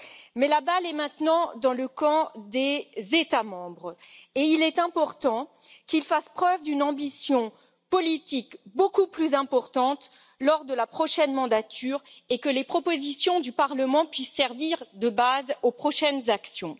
Mais la balle est maintenant dans le camp des États membres et il est important qu'ils fassent preuve d'une ambition politique beaucoup plus importante lors de la prochaine mandature et que les propositions du Parlement puissent servir de base aux prochaines actions.